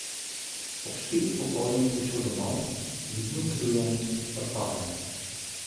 Ob štirih popoldne je prišel domov, vidno utrujen, odsoten.